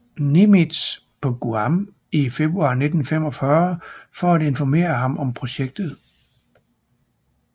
Nimitz på Guam i februar 1945 for at informere ham om projektet